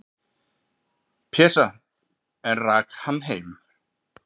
"""Pésa, en rak hann heim."""